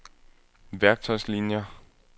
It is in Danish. værktøjslinier